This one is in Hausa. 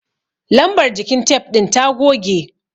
Lambar jikin tef ɗin ta goge.